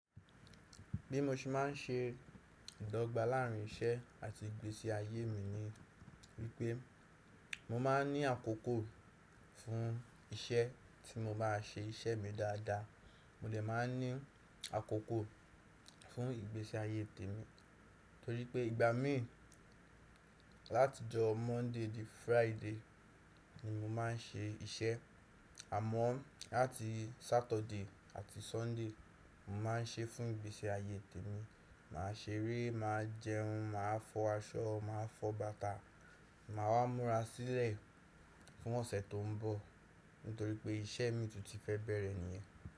Bí mo ṣe máà ń se ìdọ́gba láàrin iṣẹ́ àti ìgbésí ayé mi ni wípé mo máa ń ní àkókò fún iṣẹ́ tí mo bá a ṣe iṣẹ́ mi dáadáa. Mo lè má a ní àkókò fún ìgbésí ayé tèmi, torípé ìgbà mi láti ọjọ́ Monday di Friday ni mo má a ń ṣe iṣẹ́. Àmọ́ láti Saturday àti Sunday mo má a ń ṣe fún ìgbésí ayé tèmi. Mà a seré, mà a jẹun, mà a fọ aṣọ, mà a fọ bàtà, mà a wá múra sílẹ̀ fún ọ̀sẹ̀ tó ń bọ̀ nítorí pé iṣẹ́ mìí tú tí fẹ́ bẹ̀rẹ̀ níyẹn.